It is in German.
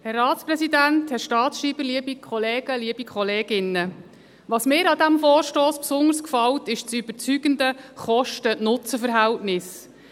Was mir an diesem Vorstoss gefällt, ist das überzeugende Kosten- Nutzen-Verhältnis.